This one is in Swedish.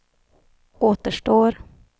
återstår